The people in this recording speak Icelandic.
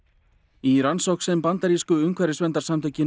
í rannsókn sem bandarísku umhverfisverndarsamtökin